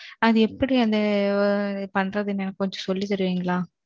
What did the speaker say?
அது எப்படி அதை பண்றதுன்னு எனக்கு கொஞ்சம் சொல்லி தருவீங்களா?